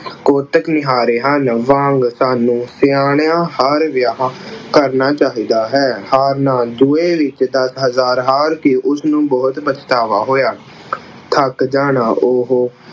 ਕੁੱਟ ਕੇ ਹਾਰੇ ਹਨ ਵਾਂਗ ਸਾਨੂੰ ਸਿਆਣਿਆਂ ਹਰ ਵਿਆਹ ਕਰਨਾ ਚਾਹੀਦਾ ਹੈ। ਹਾਰਨਾ, ਜੂਏ ਵਿੱਚ ਦਸ ਹਜ਼ਾਰ ਹਾਰ ਕੇ ਉਸਨੂੰ ਬਹੁਤ ਪਛਤਾਵਾ ਹੋਇਆ। ਥੱਕ ਜਾਣਾ, ਉਹ